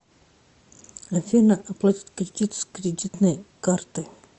афина оплатить кредит с кредитной карты